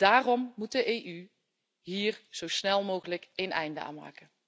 Daarom moet de EU hier zo snel mogelijk een einde aan maken.